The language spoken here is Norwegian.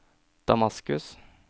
Damaskus